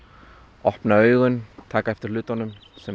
opna augun taka eftir hlutunum